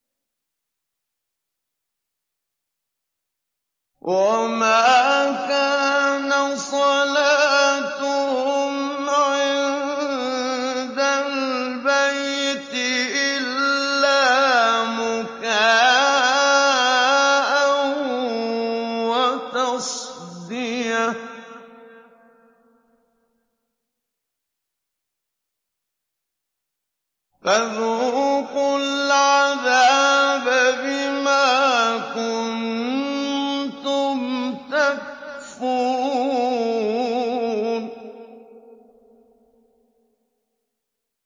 وَمَا كَانَ صَلَاتُهُمْ عِندَ الْبَيْتِ إِلَّا مُكَاءً وَتَصْدِيَةً ۚ فَذُوقُوا الْعَذَابَ بِمَا كُنتُمْ تَكْفُرُونَ